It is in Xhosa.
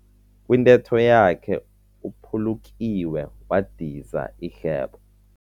Kwintetho yakhe uphulukiwe wadiza ihlebo.